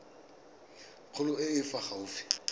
kgolo e e fa gaufi